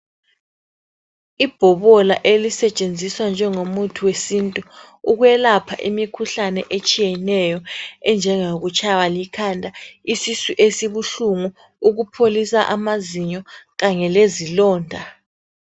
Ibhobola elisetshenziswa njengomuthi wesintu .Ukwelapha imikhuhlane etshiyeneyo .Enjengo kutshaywa likhanda, isisu esibuhlungu ,ukupholisa amazinyo kanye lezilonda .